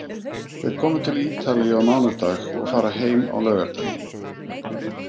Þeir komu til Ítalíu á mánudag og fara heim á laugardaginn.